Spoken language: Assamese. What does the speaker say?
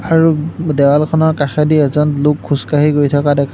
আৰু দেৱালখনৰ কাষেদি এজন লোক খোজকাঢ়ি গৈ থকা দেখা --